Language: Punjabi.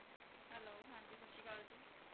Hello ਹਾਂਜੀ ਸਤਿ ਸ੍ਰੀ ਅਕਾਲ ਜੀ।